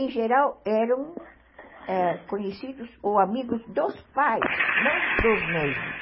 Em geral, eram conhecidos ou amigos dos pais, não dos noivos.